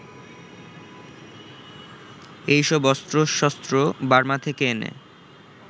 এইসব অস্ত্রশস্ত্র বার্মা থেকে এনে